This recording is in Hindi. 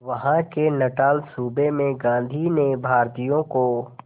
वहां के नटाल सूबे में गांधी ने भारतीयों को